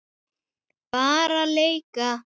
Bara leika.